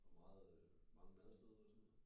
Hvor meget øh hvor mange madsteder var der så